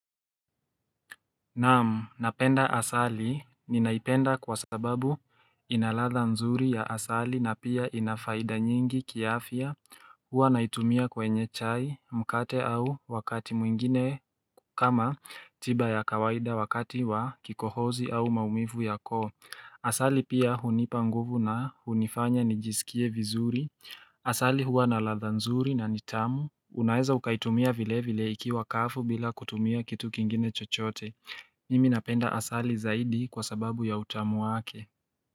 Naam, napenda asali, ninaipenda kwa sababu ina ladha nzuri ya asali na pia ina faida nyingi kiafya huwa naitumia kwenye chai, mkate au wakati mwingine kama tiba ya kawaida wakati wa kikohozi au maumivu ya koo. Asali pia hunipa nguvu na hunifanya nijisikie vizuri. Asali huwa na ladha nzuri na ni tamu. Unaeza ukaitumia vile vile ikiwa kavu bila kutumia kitu kingine chochote. Mimi napenda asali zaidi kwa sababu ya utamu wake.